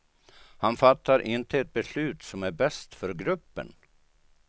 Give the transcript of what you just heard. Han fattar inte ett beslut som är bäst för gruppen.